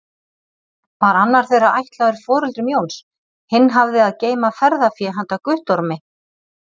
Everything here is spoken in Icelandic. Var annar þeirra ætlaður foreldrum Jóns, hinn hafði að geyma ferðafé handa Guttormi.